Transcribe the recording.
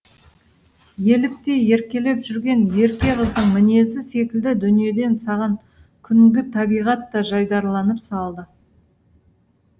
еліктей еркелеп жүрген ерке қыздың мінезі секілді дүниеден саған күнгі табиғат та жайдарланып салды